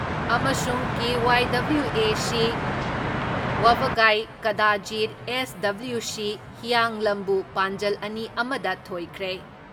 ꯑꯃꯁꯨꯡ K. YWAC ꯋꯥꯕꯒꯥꯏ ꯀꯥꯗꯥꯖꯤꯠ ꯑꯦꯁ.ꯗꯕꯂ꯭ꯌꯨ.ꯁꯤ ꯍꯤꯌꯥꯡꯂꯝꯕꯨ ꯄꯥꯟꯖꯜ ꯑꯅꯤ ꯑꯃ ꯗ ꯊꯣꯏꯈ꯭ꯔꯦ ꯫